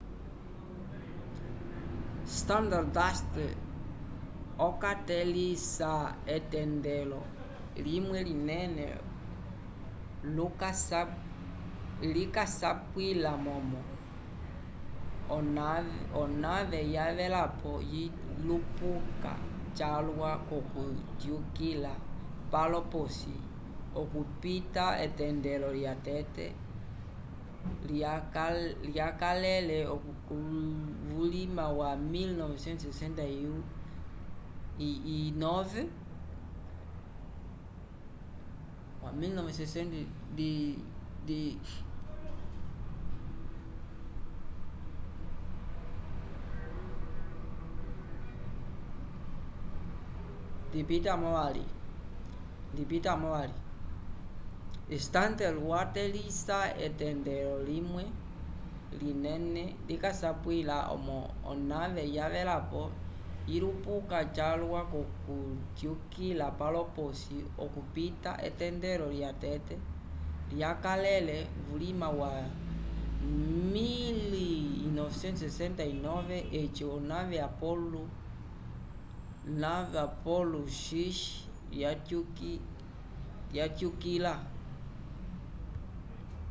stardust okatẽlisa etendelo limwe linene likasapwila momo onave yavelapo yilupuka calwa k'okutyukila palo p'osi okupita etendelo lyatete lyakalele vulima wa 1969 eci o nave apollo x yatyukila